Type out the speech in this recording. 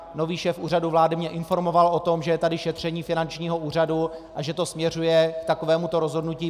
Nový šéf Úřadu vlády mě informoval o tom, že je tady šetření finančního úřadu a že to směřuje k takovémuto rozhodnutí.